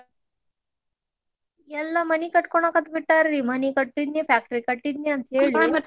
ಎಲ್ಲಾ ಮನಿ ಕಟ್ಕೋನಾಕಟ್ತಬಿಟ್ಟಾರ್ರಿ, ಮನಿ ಕಟ್ಟಿದ್ನಿ factory ಕಟ್ಟಿದ್ನಿ ಅಂತೇಳಿ.